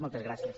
moltes gràcies